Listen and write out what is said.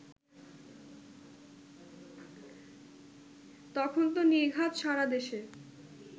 তখন তো নির্ঘাত সারা দেশে